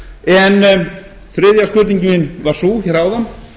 en þriðja spurningin var sú hér áðan